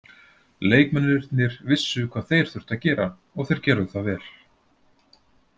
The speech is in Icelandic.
Leikmennirnir vissu hvað þeir þurftu að gera og þeir gerðu það vel